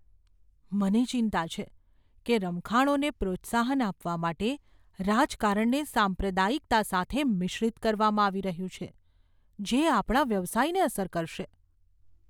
મને ચિંતા છે કે રમખાણોને પ્રોત્સાહન આપવા માટે રાજકારણને સાંપ્રદાયિકતા સાથે મિશ્રિત કરવામાં આવી રહ્યું છે જે આપણા વ્યવસાયને અસર કરશે.